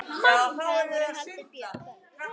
Þar voru haldin böll.